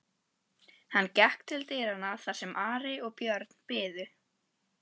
Hann gekk til dyranna þar sem Ari og Björn biðu.